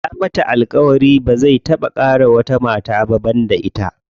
Ya mata alƙawari ba zai taɓa ƙara wata mata ba banda ita.